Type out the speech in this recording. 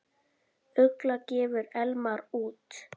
Ugla gefur Elmar út.